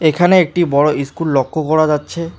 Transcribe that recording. এখানে একটি বড় ইস্কুল লক্ষ্য করা যাচ্ছে।